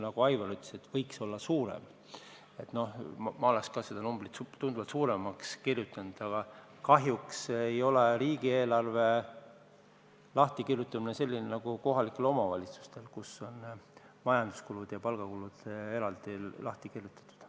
Ma oleksin ka seda numbrit tunduvalt suurendanud, aga kahjuks ei ole riigieelarve niimoodi lahti kirjutatud nagu kohalike omavalitsuste omad, kus on majanduskulud ja palgakulud eraldi lahti kirjutatud.